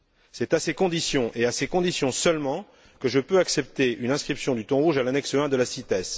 C'est à ces conditions et à ces conditions seulement que je peux accepter une inscription du thon rouge à l'annexe I de la CITES.